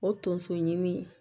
O tonso ɲimi